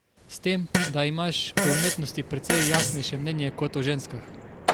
S tem da imaš o umetnosti precej jasnejše mnenje kot o ženskah.